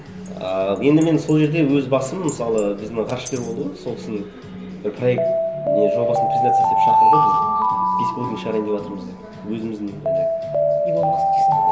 ыыы енді мен сол жерде өз басым мысалы біздің ғарышкер болды ғой сол кісінің бір проект не жобасын презентация істеп шақырды біз беспилотник шығарайын деватырмыз деп өзіміздің жаңағы илон маск дейсің ғой